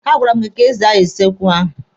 A gwara m gị ka ị zaa kichin ahụ!